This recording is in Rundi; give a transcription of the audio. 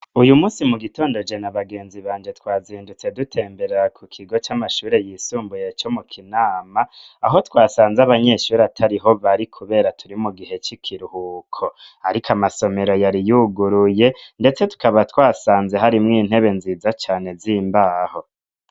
Uyu munsi mu gitondo je na bagenzi banje twazindutse dutemberera ku kigo c'amashuri yisumbuye co mu Kinama aho twasanze abanyeshuri atariho bari kubera turi mu gihe c'ikiruhuko ariko amasomero yari yuguruye ndetse tukaba twasanze hari mw'intebe nziza cane z'imbaho.